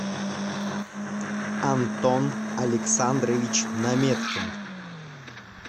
антон александрович наметкин